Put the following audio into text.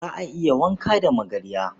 Za a iya wanka da magarya.